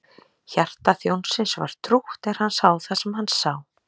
Hjarta þjónsins var trútt er hann sá það sem hann sá.